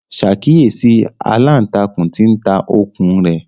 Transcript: Ṣàkíyèsí aláǹtakùn tí ń ta okùn un rẹ̀!